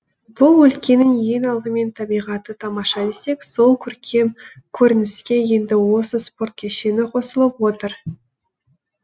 бұл өлкенің ең алдымен табиғаты тамаша десек сол көркем көрініске енді осы спорт кешені қосылып отыр